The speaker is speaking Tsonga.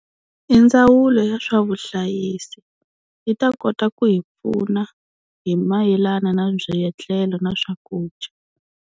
I ndzawulo ya swa vuhlayisi yi ta kota ku hi pfuna hi mayelana na byietlelo na swakudya.